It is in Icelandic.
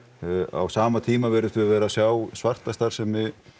á sama tíma virðumst við vera að sjá svarta starfsemi